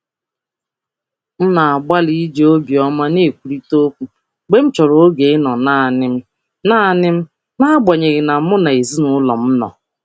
M na-agbalị iji obi ọma ọma kwuo okwu mgbe m chọrọ oge ịnọrọ um naanị m n'agbanyeghị nso ezinụlọ. um